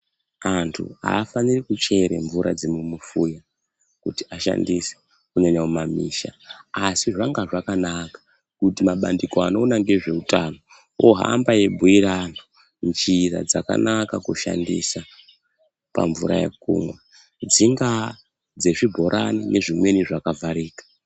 Antu afaniri kuchera mvura dzemumufuya kuti ashandise, kunyanya mumamisha asi zvanga zvakanaka kuti mabandiko anoona ngezveutano ohamba eibhuira antu njira dzakanaka kushandisa pamvura yekumwa, dzingaa dzezvibhorani nezvimweni zvakavharika.